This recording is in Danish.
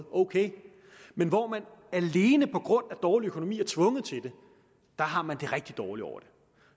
ok men hvor man alene på grund dårlig økonomi er tvunget til det har man det rigtig dårligt over det